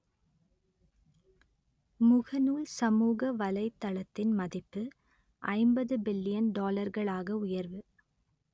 முகநூல் சமூக வலைத்தளத்தின் மதிப்பு ஐம்பது பில்லியன் டாலர்களாக உயர்வு